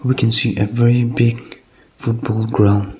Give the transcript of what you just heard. we can see a very big football ground.